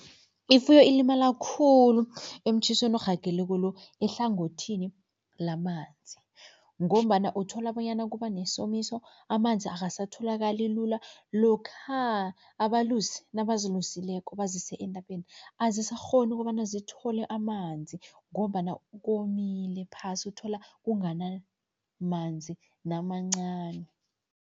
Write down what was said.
Ifuyo ilimala khulu emtjhisweni orhageleko lo ehlangothini lamanzi ngombana uthola bonyana kuba nesomiso, amanzi akasatholakali lula, lokha abalusi nabazilusileko bazise entabeni, azisakghoni kobana zithole amanzi ngombana komile phasi uthola kunganamanzi namancani.